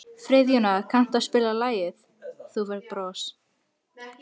Friðjóna, kanntu að spila lagið „Þú Færð Bros“?